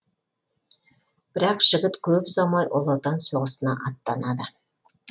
бірақ жігіт көп ұзамай ұлы отан соғысына аттанады